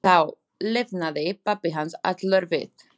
Þá lifnaði pabbi hans allur við.